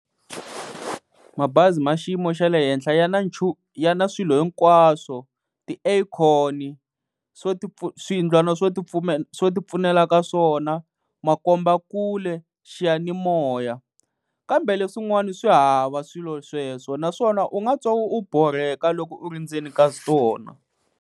Mabazi ma xiyimo xa le henhla ya na ya na swilo hinkwaswo, ti-aircon-i, swiyindlwana swo ti swo ti pfunela ka swona, makombakule, xiyanimoya kambe leswin'wana swi hava swilo sweswo naswona u nga twa u borheka loko u ri ndzeni ka tona.